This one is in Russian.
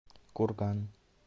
курган